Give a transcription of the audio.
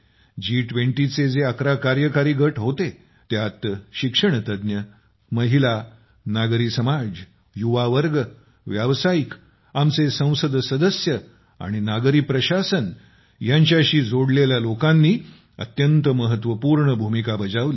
जी २० चे जे ११ कार्यकारी गट होते त्यात शिक्षणतज्ञ महिला नागरी समाज युवावर्ग व्य़ावसायिक आपले संसद सदस्य आणि नागरी प्रशासन यांच्याशी जोडलेल्या लोकांनी अत्यंत महत्वपूर्ण भूमिका बजावली